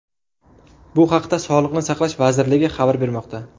Bu haqda Sog‘liqni saqlash vazirligi xabar bermoqda .